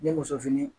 Ni muso fini